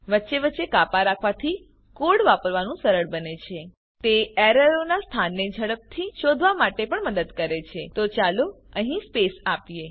વચ્ચે વચ્ચે કાપા રાખવાથી કોડ વાંચવાનું સરળ બને છે તે એરરોનાં સ્થાનને ઝડપથી શોધવા માટે પણ મદદ કરે છે તો ચાલો અહીં સ્પેસ આપીએ